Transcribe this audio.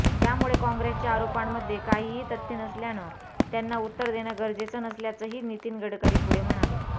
त्यामुळे काँग्रेसच्या आरोपांमध्ये काहीही तथ्य नसल्यानं त्यांना उत्तर देणं गरजेचं नसल्याचंही नितीन गडकरी पुढे म्हणाले